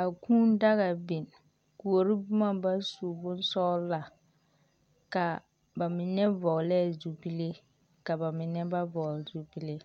A kũũ daga biŋ, kuori boma ba su bonsɔgla, ka ba mine vɔglɛɛ zupile, ka ba mine ba vɔgle zupile.